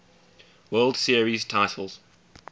world series titles